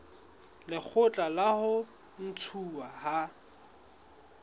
lekgotla la ho ntshuwa ha